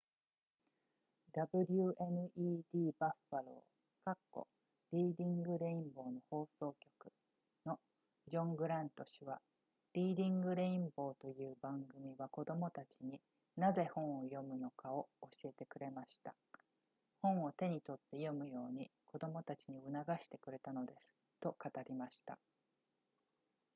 wned buffalo リーディングレインボーの放送局のジョングラント氏はリーディングレインボーという番組は子供たちになぜ本を読むのかを教えてくれました本を手に取って読むように子供たちに促してくれたのですと語りました